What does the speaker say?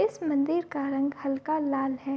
इस मंदिर का रंग हल्का लाल है।